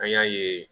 An y'a ye